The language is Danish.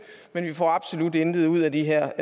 men vi får absolut intet ud af de her